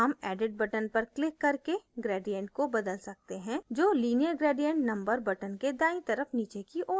हम edit button पर click करके gradient को बदल सकते हैं जो linear gradient number button के दाईं तरफ नीचे की ओर है